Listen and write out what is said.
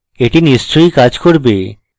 এটি নিশ্চয়ই কাজ করবে